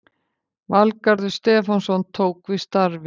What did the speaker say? Valgarður Stefánsson tók við starfi